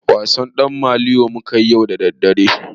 Wasan ɗan maliyo mukayi yau a dandali.